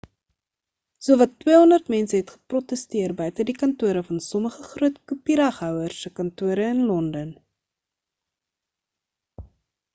sowat 200 mense het geprotesteer buite die kantore van sommige groot kopiereghouers se kantore in londen